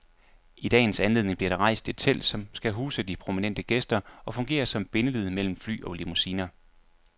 I dagens anledning bliver der rejst et telt, som skal huse de prominente gæster og fungere som bindeled mellem fly og limousiner.